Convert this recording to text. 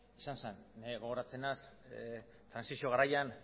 izan zen gogoratzen naiz trantsizio garaian